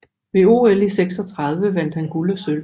Ved OL 1936 vandt han guld og sølv